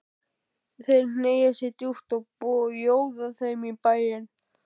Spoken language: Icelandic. Þeir hneigja sig djúpt og bjóða þeim í bæinn.